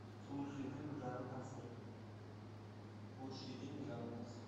лучшие фильмы жанра концерт лучшие фильмы жанра концерт